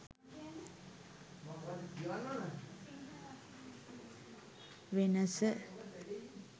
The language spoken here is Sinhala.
wanasa